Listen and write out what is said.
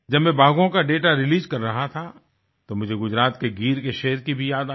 जब मैं बाघों का दाता रिलीज कर रहा था तो मुझे गुजरात के गीर के शेर की भी याद आई